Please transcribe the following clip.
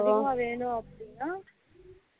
அதுவே அதிகமா வேணும் அப்படினா